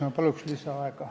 Ma palun lisaaega!